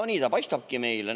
Nii ta paistabki meile.